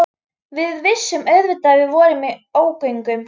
Við vissum auðvitað að við vorum í ógöngum.